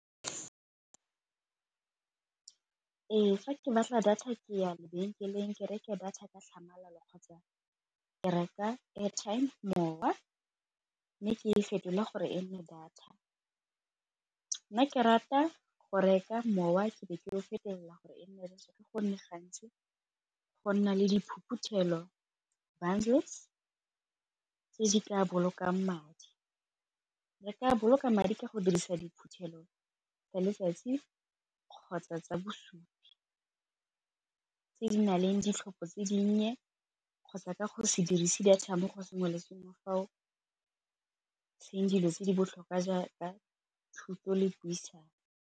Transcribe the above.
Ee, fa ke batla data ke ya lebenkeleng ke reke data ka tlhamalalo kgotsa ke reka airtime mowa, mme ka fetolwa gore e nne data. Nna ke rata go reka mowa ke be ke go fetelela gore e nne data gonne gantsi go nna le bundles tse di ka bolokang madi. Re ka boloka madi ka go dirisa tsa letsatsi kgotsa tsa bosupi, tse di na leng ditlhopho tse di nnye kgotsa ka go se dirise data mo go sengwe le sengwe fao dilo tse di botlhokwa jaaka thuto le puisano.